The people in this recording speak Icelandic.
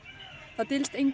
það dylst engum